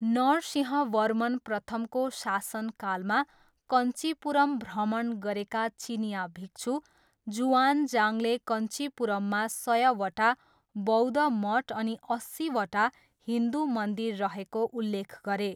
नरसिंहवर्मन प्रथमको शासनकालमा कञ्चीपुरम भ्रमण गरेका चिनियाँ भिक्षु जुआनजाङले कञ्चीपुरममा सयवटा बौद्ध मठ अनि अस्सीवटा हिन्दु मन्दिर रहेको उल्लेख गरे।